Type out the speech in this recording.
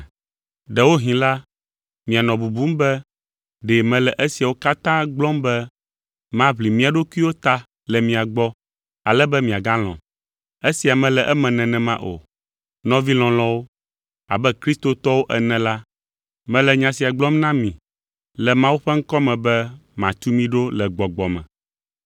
Ɖewohĩ la, mianɔ bubum be ɖe mele esiawo katã gblɔm be maʋli mía ɖokuiwo ta le mia gbɔ, ale be miagalɔ̃m. Esia mele eme nenema o. Nɔvi lɔlɔ̃wo, abe Kristotɔwo ene la, mele nya sia gblɔm na mi le Mawu ƒe ŋkɔ me, be matu mi ɖo le gbɔgbɔ me.